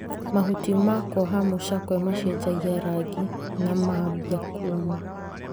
Mahuti ma kwoha mũcakwe macenjia rangi na mambia kũma.